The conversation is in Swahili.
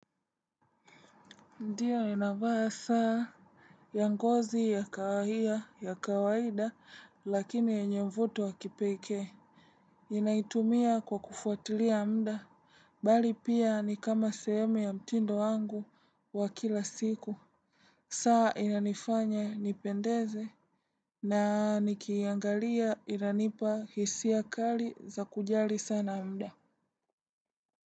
Ndiyo ninavaa saa. Ya ngozi ya kawahia ya kawaida lakini yenye mvuto wa kipekee. Inaitumia kwa kufuatilia muda bali pia ni kama seheme ya mtindo wangu wa kila siku. Saa inanifanya nipendeze. Na nikiangalia inanipa hisia kali za kujali sana muda.